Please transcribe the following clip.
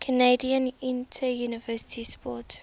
canadian interuniversity sport